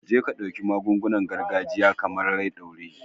Jeka dauki magungunan gargajiya, kamar "rai ɗore"